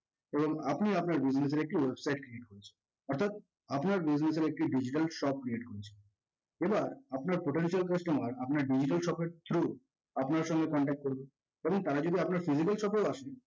এবং আপনি আপনার business এর একটি website create করেছেন অর্থাৎ আপনার business এর digital shop create করেছেন। এবার আপনার potential customer আপনার digital shop এর through আপনার সঙ্গে contact করবে। ধরুন তারা জীবনে আপনার physical shop এও আসেনি